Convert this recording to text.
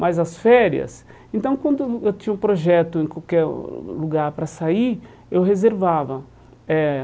Mas as férias... Então, quando eu tinha um projeto em qualquer lugar para sair, eu reservava eh.